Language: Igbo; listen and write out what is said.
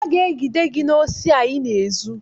Aga egide gị n'osi a ịna-ezu!